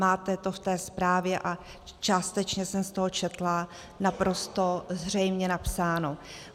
Máte to v té zprávě, a částečně jsem z toho četla, naprosto zřejmě napsáno.